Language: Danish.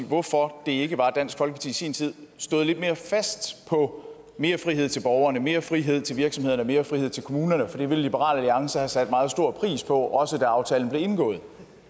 hvorfor det ikke var at dansk folkeparti i sin tid stod lidt mere fast på mere frihed til borgerne mere frihed til virksomhederne mere frihed til kommunerne for det ville liberal alliance have sat meget stor pris på også da aftalen blev indgået